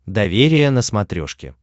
доверие на смотрешке